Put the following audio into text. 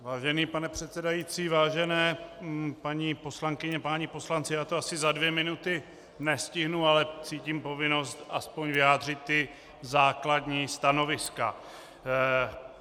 Vážený pane předsedající, vážené paní poslankyně, páni poslanci, já to asi za dvě minuty nestihnu, ale cítím povinnost aspoň vyjádřit ta základní stanoviska.